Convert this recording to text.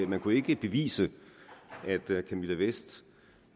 man kunne ikke bevise at camilla vest